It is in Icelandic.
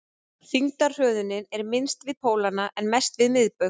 þyngdarhröðunin er minnst við pólana en mest við miðbaug